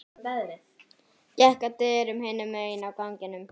Gekk að dyrum hinum megin á ganginum.